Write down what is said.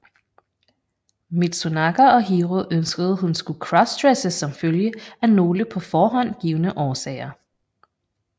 Mitsunaga og Hiro ønskede hun skulle crossdresse som følge af nogle på forhånd givne årsager